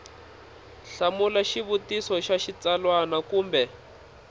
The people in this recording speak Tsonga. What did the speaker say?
hlamula xivutiso xa xitsalwana kumbe